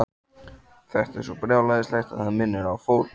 Þetta er svo brjálæðislegt að það minnir á fórn.